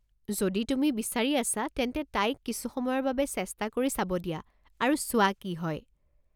যদি তুমি বিচাৰি আছা তেন্তে তাইক কিছু সময়ৰ বাবে চেষ্টা কৰি চাব দিয়া আৰু চোৱা কি হয়।